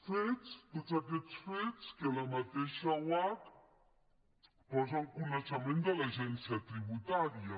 fets tots aquest fets que la mateixa oarcc posa en coneixement de l’agència tributària